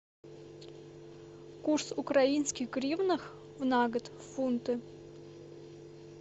курс украинских гривнах на год в фунты